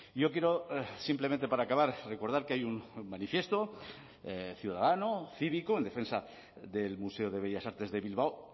yo quiero simplemente para acabar recordar que hay un manifiesto ciudadano cívico en defensa del museo de bellas artes de bilbao